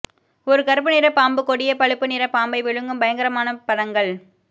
ஒரு கருப்பு நிற பாம்பு கொடிய பழுப்பு நிற பாம்பை விழுங்கும் பயங்கரமான படங்கள்